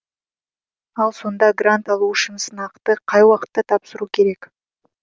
ал сонда грант алу үшін сынақты қай уақытта тапсыру керек